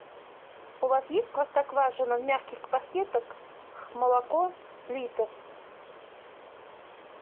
у вас есть простоквашино в мягких пакетах молоко литр